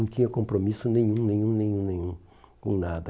Não tinha compromisso nenhum, nenhum, nenhum, nenhum, com nada.